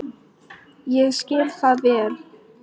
Ég skil það vel.